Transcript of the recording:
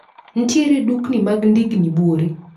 Nitiere dukni mag ndigni buore?